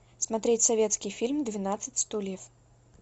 смотреть советский фильм двенадцать стульев